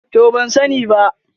To ban sani ba.